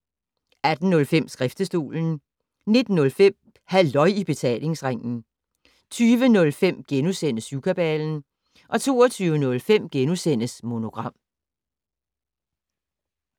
18:05: Skriftestolen 19:05: Halløj i Betalingsringen 20:05: Syvkabalen * 22:05: Monogram *